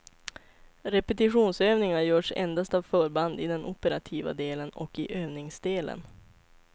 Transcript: Repetitionsövningar görs endast av förbnad i den operativa delen och i övningsdelen.